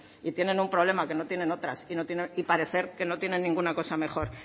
y tienen un problema que no tienen otras y parece que no tienen ninguna cosa mejor